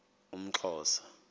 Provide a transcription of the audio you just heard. umxhosa